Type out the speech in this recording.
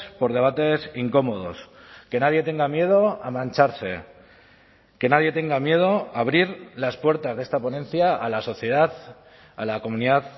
por debates incómodos que nadie tenga miedo a mancharse que nadie tenga miedo a abrir las puertas de esta ponencia a la sociedad a la comunidad